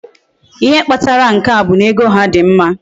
Ihe Kpatara nke a bu na ego ha di mma